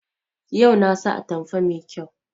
Yau na sa atamfa mai kyau